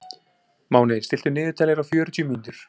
Máni, stilltu niðurteljara á fjörutíu mínútur.